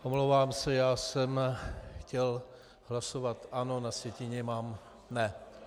Omlouvám se, já jsem chtěl hlasovat ano, na sjetině mám ne.